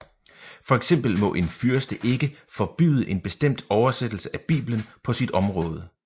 For eksempel må en fyrste ikke forbyde en bestemt oversættelse af Bibelen på sit område